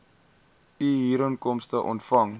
u huurinkomste ontvang